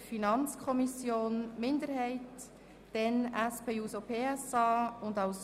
Wir fahren somit weiter mit der Beratung des Themenblocks 6.f Existenzsicherung und Integration